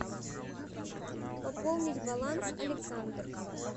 пополнить баланс александр